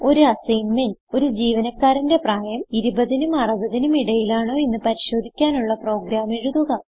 ഒരു അസ്സിഗ്ന്മെന്റ് ഒരു ജീവനക്കാരന്റെ പ്രായം 20 നും 60 നും ഇടയിലാണോയെന്ന് പരിശോധിക്കാനുള്ള പ്രോഗ്രാം എഴുതുക